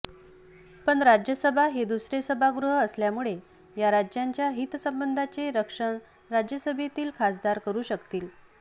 पण राज्यसभा हे दुसरे सभागृह असल्यामुळे या राज्यांच्या हितसंबंधांचे रक्षण राज्यसभेतील खासदार करू शकतील